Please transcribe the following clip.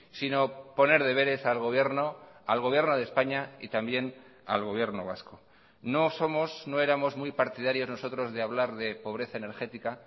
sino poner deberes al gobierno al gobierno de españa y también al gobierno vasco no somos no éramos muy partidarios nosotros de hablar de pobreza energética